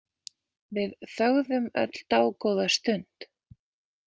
Við þögðum öll dágóða stund.